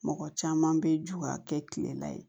Mɔgɔ caman bɛ jɔ ka kɛ kile la ye